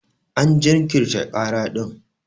An jinkirta kara din.